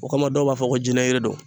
O kama dɔw b'a fɔ ko jinɛyiri don